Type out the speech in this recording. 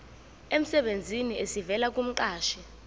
emsebenzini esivela kumqashi